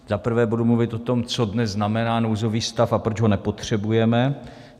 Za prvé budu mluvit o tom, co dnes znamená nouzový stav a proč ho nepotřebujeme.